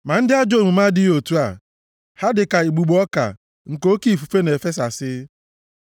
Ma ndị ajọ omume adịghị otu a. Ha dị ka igbugbo ọka nke oke ifufe na-efesasị.